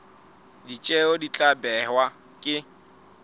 ditjeo di tla behwa ke